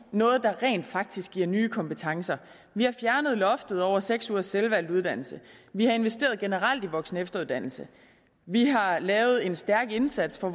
noget der rent faktisk giver nye kompetencer vi har fjernet loftet over seks ugers selvvalgt uddannelse vi har investeret generelt i voksen og efteruddannelse vi har lavet en stærk indsats for